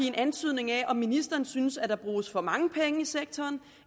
en antydning af om ministeren synes at der bruges for mange penge i sektoren